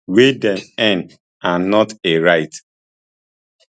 wey dem earn and not a right